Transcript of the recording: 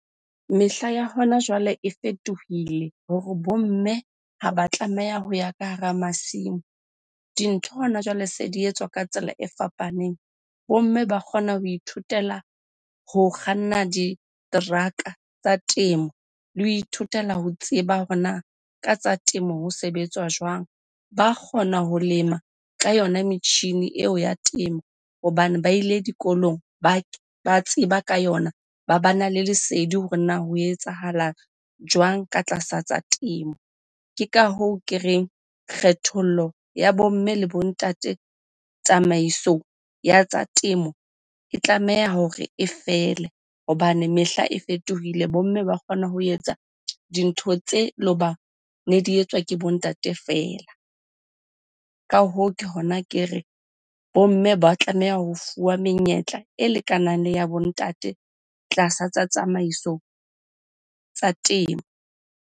Mehla ya hona jwale e fetohile hore bo mme ha ba tlameha ho ya ka hara masimo. Dintho hona jwale se di etswa ka tsela e fapaneng. Bo mme ba kgona ho ithutela ho kganna diteraka tsa temo le ho ithutela ho tseba hore na ka tsa temo ho sebetswa jwang? Ba kgona ho lema ka yona metjhini eo ya temo hobane ba ile dikolong ba tseba ka yona, ba bana le lesedi hore na ho etsahala jwang ka tlasa tsa temo? Ke ka hoo ke reng kgethollo ya bo mme le bo ntate, tsamaiso ya tsa temo e tlameha hore e fele hobane mehla e fetohile. Bomme ba kgona ho etsa dintho tse loba ne di etswa ke bo ntate feela. Ka hoo ke hona ke re, bo mme ba tlameha ho fuwa menyetla e lekanang le ya bo ntate tlasa tsa tsamaiso tsa temo.